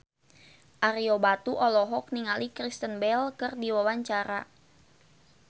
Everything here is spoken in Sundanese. Ario Batu olohok ningali Kristen Bell keur diwawancara